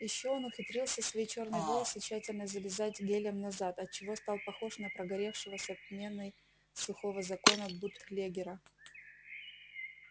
ещё он ухитрился свои чёрные волосы тщательно зализать гелем назад от чего стал похож на прогоревшего с отменной сухого закона бутлегера